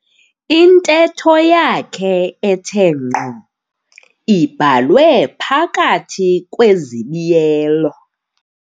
Intetho yakhe ethe ngqo ibhalwe phakathi kwezibiyelo.